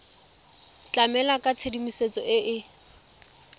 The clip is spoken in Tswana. tlamela ka tshedimosetso e e